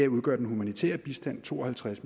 udgør den humanitære bistand to og halvtreds